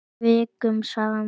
Vikum saman.